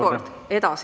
Kolm minutit juurde.